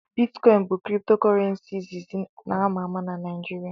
Bitcoin bụ kripto Kurrenci izizi na ama ama na Naịjirịa.